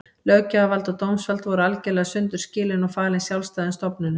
Löggjafarvald og dómsvald voru algerlega sundur skilin og falin sjálfstæðum stofnunum.